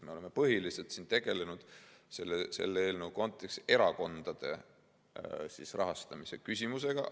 Me oleme selle eelnõu kontekstis tegelenud põhiliselt erakondade rahastamise küsimusega.